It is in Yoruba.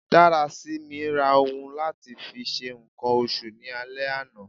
Darasimi ra ohun lati fi ṣe nkan oṣù ni ale ana